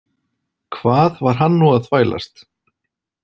Hvað var hann nú að þvælast?